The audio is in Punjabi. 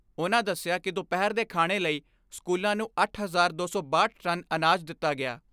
ਉਨ੍ਹਾਂ ਦਸਿਆ ਕਿ ਦੁਪਹਿਰ ਦੇ ਖਾਣੇ ਲਈ ਸਕੂਲਾਂ ਨੂੰ ਅੱਠ ਹਜ਼ਾਰ ਦੋ ਸੌ ਬਾਹਠ ਟਨ ਅਨਾਜ ਦਿੱਤਾ ਗਿਆ।